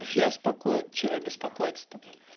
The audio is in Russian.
я спокоен что мне беспокоиться то